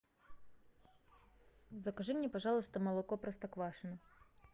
закажи мне пожалуйста молоко простоквашино